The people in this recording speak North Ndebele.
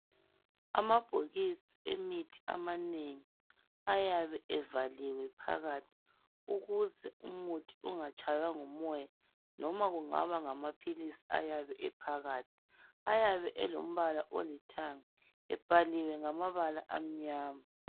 Amabhokisi emithi aminengi ayabe evaliwe phakathi ukuze umuthi ungatshaywa ngumoya, noma kungaba ngamaphilisi ayabe ephakathi. Ayabe elombala olithanga, ebhaliwe ngamabala amnyama.